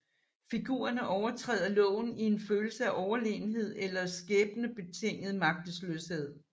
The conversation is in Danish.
Figurerne overtræder loven i en følelse af overlegenhed eller skæbnebetinget magtesløshed